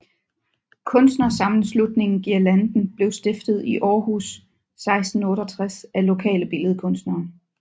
Kunstnersammenslutningen GUIRLANDEN blev stiftet i Aarhus 1968 af lokale billedkunstnere